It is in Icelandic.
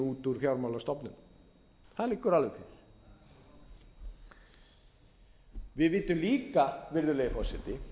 út úr fjármálastofnunum það liggur alveg fyrir við vitum líka virðulegi forseti